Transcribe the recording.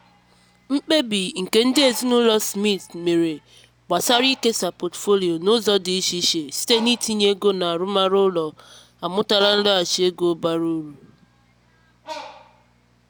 mkpebi nke ndị ezinụlọ smiths mere gbasara ikesa pọtụfoliyo n'ụzọ dị iche iche site n'itinye ego n'arụmarụ ụlọ amụtara nlọghachi ego bara uru.